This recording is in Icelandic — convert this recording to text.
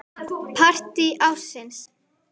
Partí ársins?